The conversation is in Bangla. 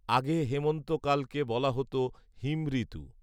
আগে হেমন্তকালকে বলা হতো ‘হিমঋতু’